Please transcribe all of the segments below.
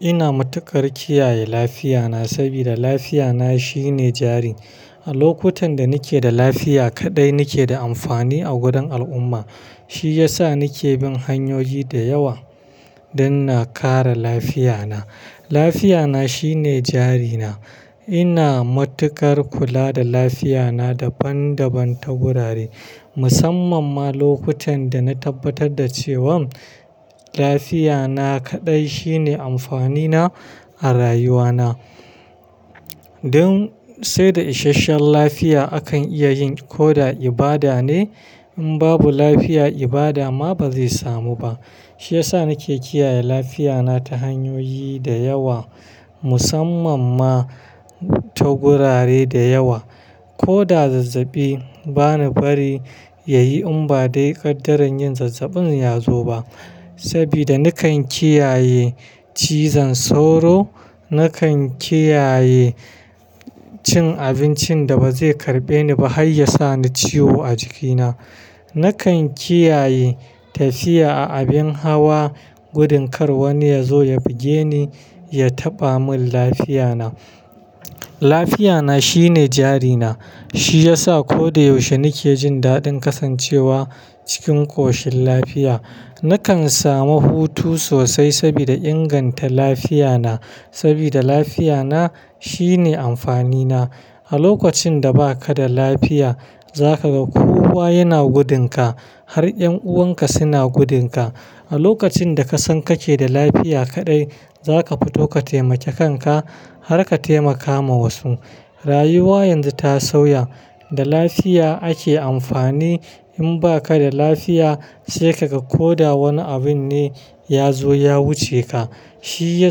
Ina matukar kiyaye lafiyana saboda lafiyana shine jari. A lokutan da nake da lafiya kaɗai nake da amfani a gurin al'umma. Shi ya sa ni ke bin hanyoyi da yawa don na kare lafiya na. Lafiya na shine jarina. Ina matukar kula da lafiyana daban daban ta gurare. Musamman ma lokutan da na tabbatar da cewan lafiyana kaɗai shine amfanina a rayuwana. Don sai da isasshen lafiya akan iya yin ko da ibada ne. In babu lafiya ibada ma bazai samu ba. Shi ya sa ni ke kiyaye lafiya na ta hanyoyi da yawa musamman ma ta gurare dayawa. Ko da zazzabi bana bari ya yi in ba dai ƙaddarar yin zazzabin ya zo ba. Saboda na kan kiyaye cizon sauro, na kan kiyaye cin abincin da bazai karɓe ni ba har ya sa ni ciwo a jikina. Na kan kiyaye tafiya a abin hawa gudun kar wani ya zo ya buge ni, ya taɓa mun lafiyana. Lafiyana shine jarina. Shi ya sa ko da yaushe ni ke jin daɗin kasancewa cikin ƙoshin lafiya. Ni kan samu hutu sosai saboda inganta lafiya na. Saboda lafiya na shine amfani na. A lokacin da baka da lafiya za ka ga kowa yana gudun ka har ƴan'uwanka suna gudun ka. A lokacin da ka san ka ke da lafiya kaɗai za ka fito ka taimake kan ka har ka taimaka ma wasu. Rayuwa yanzu ta sauya, da lafiya ake amfani. In baka da lafiya sai ka ga ko da wani abin ne ya zo ya wuce ka. Shi ya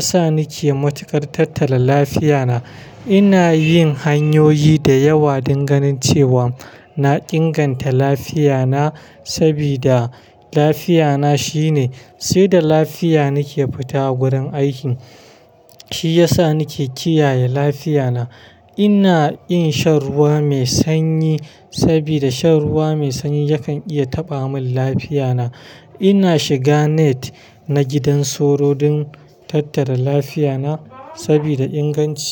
sa ni ke matukar tattala lafiya na. Ina yin hanyoyi da yawa don ganin cewa na inganta lafiya na saboda lafiyana shine. Sai da lafiya nake fita a gurin aikin. Shi ya sa na ke kiyaye lafiyana. Ina yin shan ruwa mai sanyi saboda shan ruwa mai sanyi yakan iya taɓa mun lafiya na. Ina shiga net na gidan sauro don tattala lafiyana saboda inganci.